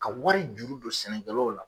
Ka wari juru don sɛnɛkɛlaw la.